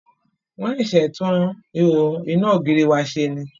Wọ́n ṣẹ̀ṣẹ̀ tún ihò iná ògiri wa ṣe ni.